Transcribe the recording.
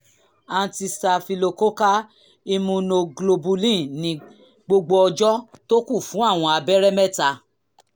antistaphylococcal immunoglobulin ní gbogbo ọjọ́ tó kù fún àwọn abẹ́rẹ́ mẹ́ta